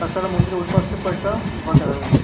তাছাড়া মন্দিরের ঐপাশে কয়েকটা ঘর দেখা যাচ্ছে।